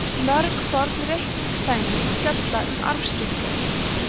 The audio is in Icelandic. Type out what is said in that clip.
mörg forn reikningsdæmi fjalla um arfaskipti